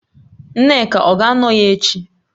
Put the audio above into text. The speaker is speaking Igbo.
Nneka ọ ga-anọ ya echi?